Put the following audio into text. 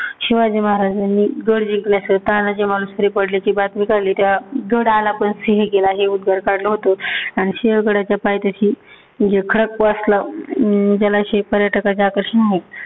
शिवाजी महाराजांनी गड जिंकला, तेव्हा तानाजी मालुसरे पडल्याची बातमी कळली. तेव्हा गड आला पण सिंह गेला! हे उद्गार काढालं होतं. आणि सिंहगडाच्या पायथ्याशी जे खडकवासला जलाशय जे पर्यटकाचे आकर्षण आहे.